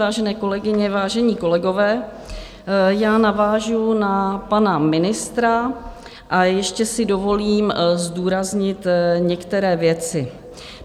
Vážené kolegyně, vážení kolegové, já navážu na pana ministra a ještě si dovolím zdůraznit některé věci.